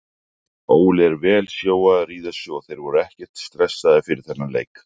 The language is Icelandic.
Óli er vel sjóaður í þessu og þeir voru ekkert stressaðir fyrir þennan leik.